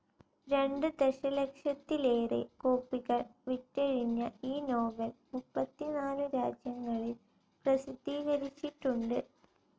രണ്ട് ദശലക്ഷത്തിലേറെ കോപ്പികൾ വിറ്റഴിഞ്ഞ ഈ നോവൽ മുപ്പത്തിനാലു രാജ്യങ്ങളിൽ പ്രസിദ്ധീകരിച്ചിട്ടുണ്ട്.